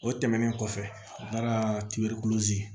O tɛmɛnen kɔfɛ